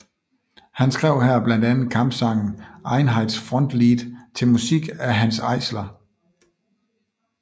Han skrev her blandt andet kampsangen Einheitsfrontlied til musik af Hanns Eisler